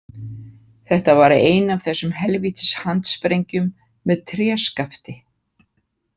Þetta var ein af þessum helvítis handsprengjum með tréskafti.